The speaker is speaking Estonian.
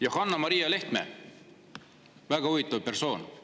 Johanna Maria Lehtme, väga huvitav persoon!